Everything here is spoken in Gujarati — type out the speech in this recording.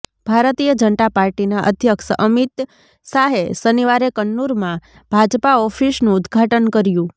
ભારતીય જનતા પાર્ટીના અધ્યક્ષ અમિત શાહે શનિવારે કન્નૂરમાં ભાજપા ઓફિસનુ ઉદ્દઘાટંન કર્યુ